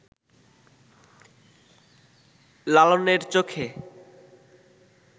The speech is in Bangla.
লালনের চোখে